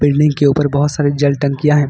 Building के ऊपर बहुत सारे जल टंकियां हैं।